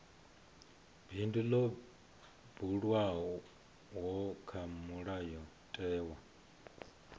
bindu ḽo buliwaho kha mulayotewa